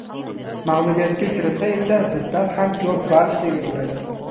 Mag‘lubiyatga uchrasa esa bundan ham ko‘p ball chegiriladi.